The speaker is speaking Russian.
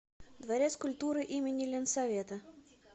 дворец культуры им ленсовета